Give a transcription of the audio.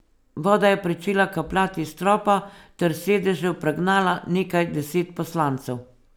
Voda je pričela kapljati s stropa ter s sedežev pregnala nekaj deset poslancev.